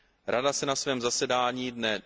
Rada se na svém zasedání dne